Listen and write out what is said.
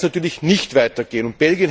So kann es natürlich nicht weitergehen.